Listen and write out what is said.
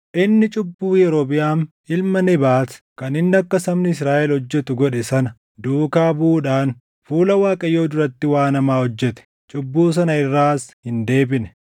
Inni cubbuu Yerobiʼaam ilma Nebaat kan inni akka sabni Israaʼel hojjetu godhe sana duukaa buʼuudhaan fuula Waaqayyoo duratti waan hamaa hojjete; cubbuu sana irraas hin deebine.